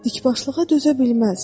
Dikbaşlığa dözə bilməzdi.